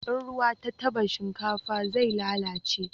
In ruwa ta taba shinkafa zai lalace